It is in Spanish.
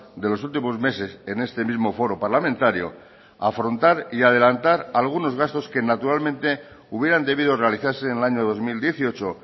de los últimos meses en este mismo foro parlamentario afrontar y adelantar algunos gastos que naturalmente hubieran debido realizarse en el año dos mil dieciocho